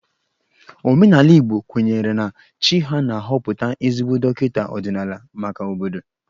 Omenala Igbo kwenyere na chi ha na-ahọpụta ezigbo dọkịta ọdịnala maka obodo